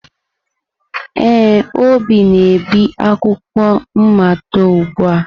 Ee, Obi na-ebi akwụkwọ mmado ugbu a.